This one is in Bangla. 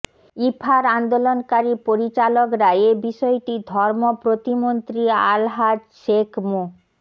ইফার আন্দোলনকারী পরিচালকরা এ বিষয়টি ধর্ম প্রতিমন্ত্রী আলহাজ শেখ মো